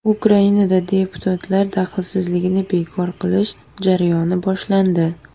Ukrainada deputatlar daxlsizligini bekor qilish jarayoni boshlandi.